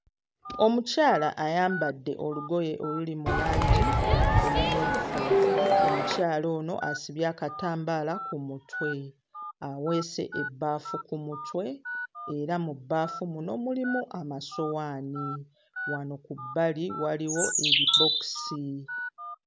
Omukyala ayambadde olugoye oluli mu langi emmyufu, omukyala ono asibye akatambaala ku mutwe, aweese ebbaafu ku mutwe era mu bbaafu muno mulimu amasowaani, wano ku bbali waliwo ebibookisi.